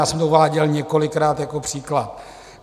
Já jsem to uváděl několikrát jako příklad.